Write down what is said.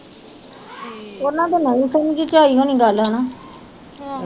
ਉਹਨਾਂ ਤੱਕ ਨਹੀਂ ਹੋਣੀ ਗੱਲ ਹੇਨਾ